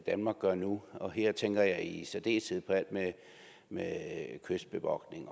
danmark gør nu og her tænker jeg i særdeleshed på alt med kystbevogtning